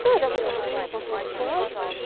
да давай давай а я пошла спать